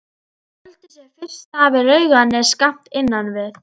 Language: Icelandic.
Þeir völdu sér fyrst stað við Laugarnes skammt innan við